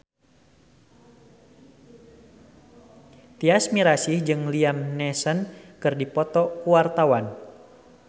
Tyas Mirasih jeung Liam Neeson keur dipoto ku wartawan